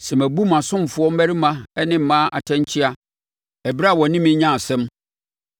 “Sɛ mabu mʼasomfoɔ mmarima ne mmaa ntɛnkyea ɛberɛ a wɔ ne me nyaa asɛm,